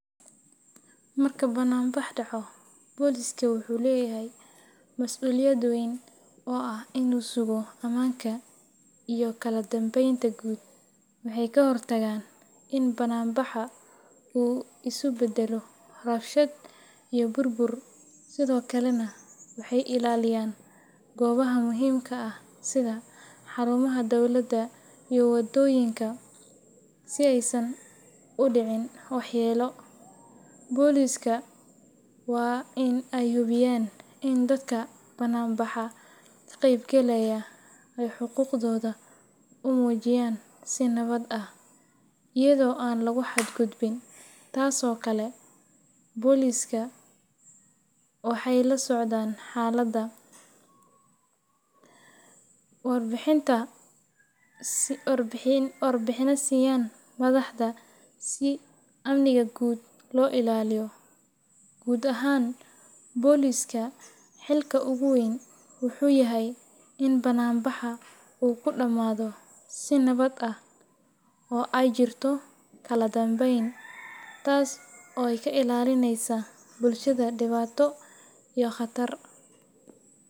Marka bannaanbax dhaco, booliska wuxuu leeyahay masuuliyad weyn oo ah in uu sugo ammaanka iyo kala dambeynta guud. Waxay ka hortagaan in bannaanbaxa uu isu beddelo rabshad iyo burbur, sidoo kalena waxay ilaaliyaan goobaha muhiimka ah sida xarumaha dowladda iyo wadooyinka si aysan u dhicin waxyeello. Booliska waa in ay hubiyaan in dadka bannaanbaxa ka qaybgalaya ay xuquuqdooda u muujiyaan si nabad ah, iyadoo aan lagu xadgudbin. Sidoo kale, boolisku waxay la socdaan xaaladda, warbixinna siiyaan madaxda si amniga guud loo ilaaliyo. Guud ahaan, booliska xilka ugu weyn wuxuu yahay in bannaanbaxa uu ku dhammaado si nabad ah oo ay jirto kala dambeyn, taas oo ka ilaalinaysa bulshada dhibaato iyo khatar.